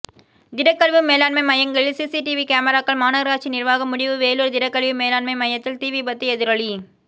திடக்கழிவு மேலாண்மை மையங்களில் சிசிடிவி கேமராக்கள் மாநகராட்சி நிர்வாகம் முடிவு வேலூர் திடக்கழிவு மேலாண்மை மையத்தில் தீ விபத்து எதிரொலி